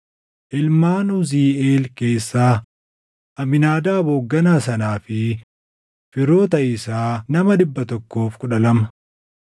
ilmaan Uziiʼeel keessaa, Amiinaadaab hoogganaa sanaa fi firoota isaa nama 112.